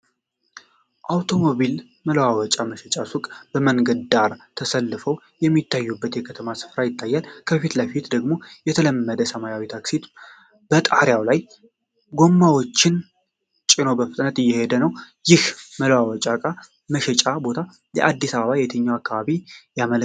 የአውቶሞቢል መለዋወጫ መሸጫ ሱቆች በመንገድ ዳር ተሰልፈው የሚታዩበት የከተማ ስፍራ ይታያል። በፊት ለፊት ደግሞ የለመደው ሰማያዊ ታክሲ በጣሪያው ላይ ጎማዎችን ጭኖ በፍጥነት እየሄደ ነው። ይህ መለዋወጫ ዕቃ መሸጫ ቦታ የአዲስ አበባ የትኛውን አካባቢ ያመለክታል?